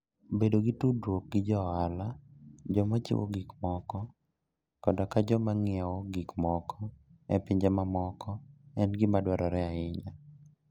Bedo gi tudruok gi jo ohala, joma chiwo gik moko, koda joma ng'iewo gik moko e pinje mamoko en gima dwarore ahinya.